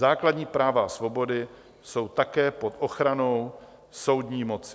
Základní práva a svobody jsou také pod ochranou soudní moci.